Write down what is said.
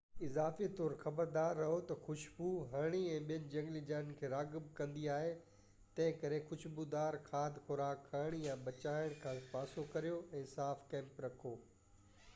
اضافي طور، خبردار رھو ته خشبوءِ هرڻين ۽ ٻين جهنگلي جانورن کي راغب ڪندي آهي ، تنھنڪري خوشبودار کاڌ خوراڪ کڻڻ يا پچائڻ کان پاسو ڪريو ۽ صاف ڪئمپ رکو